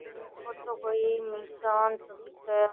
यो तो कोई मैदान सो दिखे है।